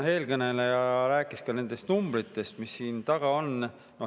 Eelkõneleja rääkis ka nendest numbritest, mis siin taga on.